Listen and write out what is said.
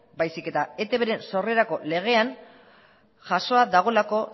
baizik eta etbren sorrerako legean jasoa dagoelako